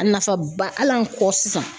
A nafaba hal'an kɔ sisan.